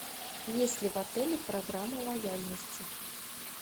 есть ли в отеле программа лояльности